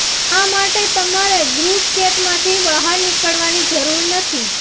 આ માટે તમારે ગ્રુપ ચેટમાંથી બહાર નીકળાની જરૂર નથી